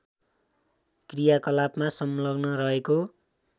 क्रियाकलापमा संलग्न रहेको